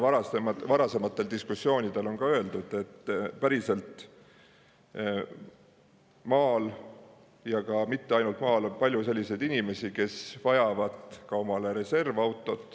Varasemates diskussioonides on ka öeldud, et maal, ja mitte ainult maal, on palju selliseid inimesi, kes vajavad reservautot.